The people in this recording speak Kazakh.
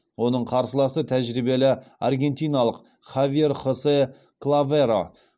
оның қарсыласы тәжірибелі аргентиналық хавьер хосе клаверо